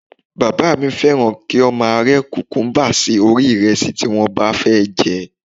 Bàbá mi fẹ́ràn kí wọ́n máa rẹ́ kùkúmúbá sí orí ìrẹsì tí wọ́n bá fẹ́ jẹ